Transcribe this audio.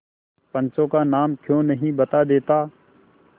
पंचों का नाम क्यों नहीं बता देता